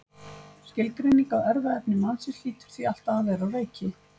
Skilgreining á erfðaefni mannsins hlýtur því alltaf að vera á reiki.